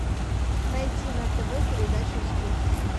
найти на тв передачу успех